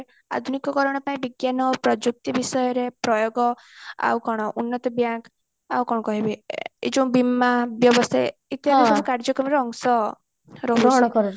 ଆଧୁନିକ କାରଣ ପାଇଁ ବିଜ୍ଞାନ ପ୍ରଯୁକ୍ତି ବିଷୟରେ ପ୍ରୟୋଗ ଆଉ କଣ ଉନ୍ନତ bank ଆଉ କଣ କହିବି ଏ ଏଇ ଯୋଉ ବୀମା ବ୍ୟବସାୟ କାର୍ଯ୍ୟକମ ର ଅଂଶ ରହିଛି